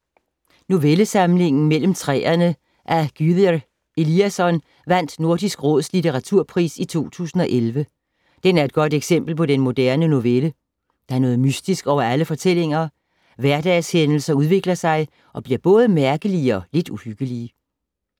Novellesamlingen Mellem træerne af Gyrðir Elíasson vandt Nordisk Råds Litteraturpris i 2011. Den er et godt eksempel på den moderne novelle. Der er noget mystisk over alle fortællingerne. Hverdagshændelser udvikler sig og bliver både mærkelige og lidt uhyggelige.